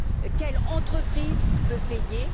Quelle entreprise peut payer?